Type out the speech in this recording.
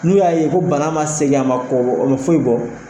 N'u y'a ye ko banna ma segin a ma kɔbɔ o ma foyi bɔ